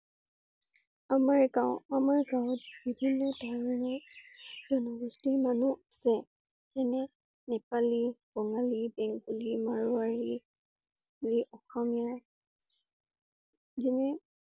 আমাৰ গাওঁ, আমাৰ গাওঁত বিভিন্ন ধৰণৰ জনগোষ্ঠীৰ মানুহ আছে। যেনে নেপালি, বঙালী, বেংগলী মাৰৱাৰি আৰু অসমীয়া যেনে